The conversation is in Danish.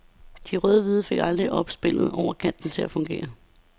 De rødhvide fik aldrig opspillet over kanterne til at fungere.